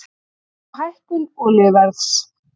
Spá hækkun olíuverðs